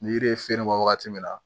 Ni yiri ye feere bɔ wagati min na